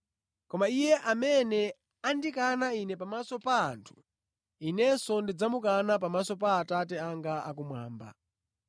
Koma iye amene andikana Ine pamaso pa anthu, Inenso ndidzamukana pamaso pa Atate anga akumwamba.